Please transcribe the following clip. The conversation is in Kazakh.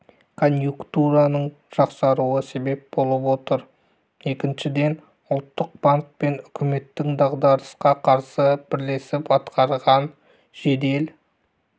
коньюнктураның жақсаруы себеп болып отыр екіншіден ұлттық банк пен үкіметтің дағдарысқа қарсы бірлесіп атқарған жедел